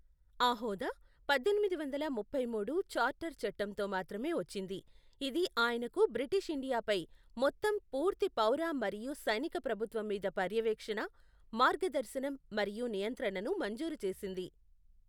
ఆ హోదా పద్దెనిమిది వందల ముప్పై మూడు చార్టర్ చట్టంతో మాత్రమే వచ్చింది, ఇది ఆయనకు బ్రిటీష్ ఇండియాపై మొత్తం పూర్తి పౌర మరియు సైనిక ప్రభుత్వం మీద పర్యవేక్షణ, మార్గదర్శనం మరియు నియంత్రణను మంజూరు చేసింది.